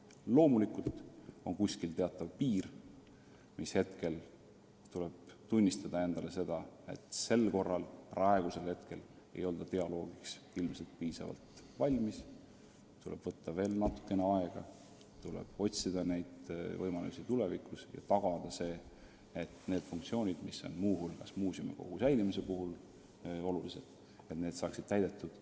Loomulikult on kuskil teatav piir, mis hetkel tuleb endale tunnistada, et sel korral, praegusel hetkel ei olda dialoogiks piisavalt valmis, et tuleb võtta veel natukene aega, tuleb otsida neid võimalusi tulevikus ja esialgu tagada, et need funktsioonid, mis on muuseumikogu säilimise seisukohast olulised, saaksid täidetud.